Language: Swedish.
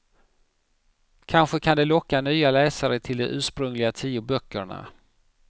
Kanske kan det locka nya läsare till de ursprungliga tio böckerna.